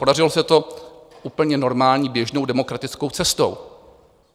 Podařilo se to úplně normální běžnou demokratickou cestou.